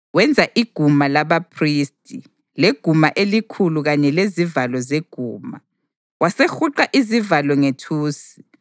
Wenza iguma labaphristi, leguma elikhulu kanye lezivalo zeguma, wasehuqa izivalo ngethusi.